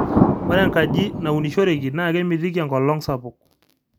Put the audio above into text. ore enkaji naunishoreki naa kemitiki enkolong sapuk